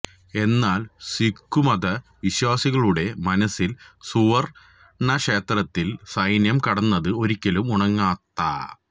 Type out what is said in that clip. എന്നാല് സിഖുമത വിശ്വാസികളുടെ മനസ്സില് സുവര്ണക്ഷേത്രത്തില് സൈന്യം കടന്നത് ഒരിക്കലും ഉണങ്ങാത്ത